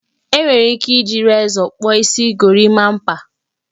E nwere ike iji rezọ kpụọ isi gorimapa